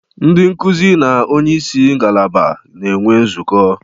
Ndị nkuzi na onye isi ngalaba na-enwe nzukọ